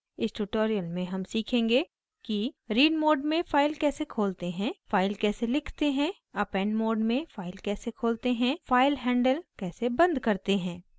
इस tutorial में हम सीखेंगे कि